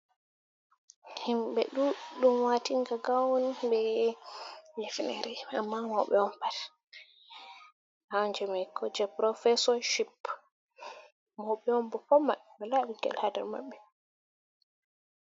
Himɓe ɗuɗɗum watinga gawn be hifnere amma mauɓe on pat, gawn jimam je profeshonalship mauɓe onbo pat mabbe wala bingel hadar mabɓe.